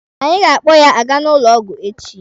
Anyị ga-akpọ ya aga n'ụlọ ọgwụ echi.